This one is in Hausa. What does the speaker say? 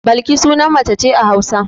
Balki sunan mace ce a Hausa.